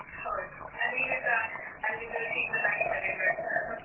ಹೌದು, ಅದು ಈಗಸ ಅಲ್ಲಿದು ರುಚಿ ಇನ್ನೂ ಹಾಗೆ ತಲೆಯಲ್ಲಿ ಉಂಟು .